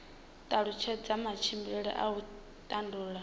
talutshedza matshimbidzele a u tandulula